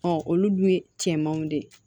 olu dun ye cɛmanw de ye